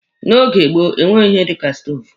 N'oge gboo, enweghị ihe dika stoovu.